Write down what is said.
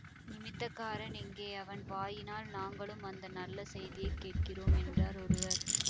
நிமித்தக்காரன் எங்கே அவன் வாயினால் நாங்களும் அந்த நல்ல செய்தியை கேட்கிறோம் என்றார் ஒருவர்